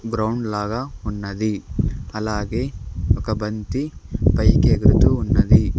Ground లాగా ఉన్నది అలాగే ఒక బంతి పైకి ఎగురుతూ ఉన్నది.